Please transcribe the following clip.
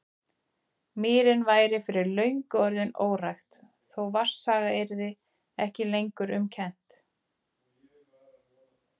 Mýrin væri fyrir löngu komin í órækt, þó vatnsaga yrði ekki lengur um kennt.